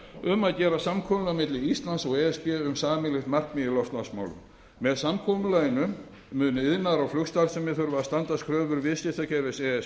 um að gera samkomulag milli íslands og e s b um sameiginlegt markmið í loftslagsmálum með samkomulaginu munu iðnaður og flugstarfsemi þurfa að standast kröfur viðskiptakerfis e